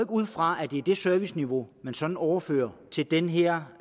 ud fra at det er det serviceniveau man sådan overfører til den her